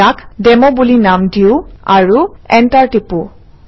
ইয়াক ডেমো বুলি নাম দিওঁ আৰু এণ্টাৰ টিপোঁ